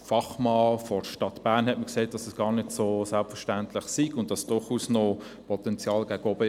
Ein Fachmann der Stadt Bern hat mir jedoch gesagt, dies sei nicht so selbstverständlich und es bestehe durchaus Potenzial gegen oben.